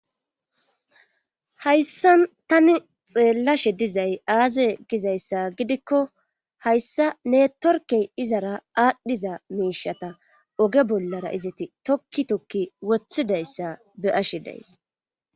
Hayssan tani xeellashe dizay aaze gizayssa gidikko hayssa ne torkey izara aadhdhiza miishata oge bollara izati tokki tokki woththidayssa be ashe days.